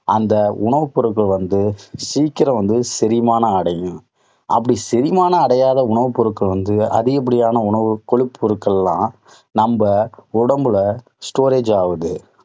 அந்த உணவுப் பொருட்கள் வந்து சீக்கிரம் வந்து செரிமானம் அடையும். அப்படி செரிமான அடையாத உணவுப் பொருட்கள் வந்து அதிகப்படியான உணவுக் கொழுப்பு பொருட்களெல்லாம் நம்ம உடம்புல storage ஆவுது.